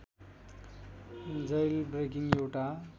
jailbreaking एउटा